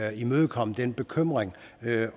imødekomme den bekymring